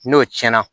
N'o tiɲɛna